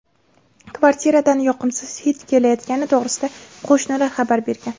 Kvartiradan yoqimsiz hid kelayotgani to‘g‘risida qo‘shnilar xabar bergan.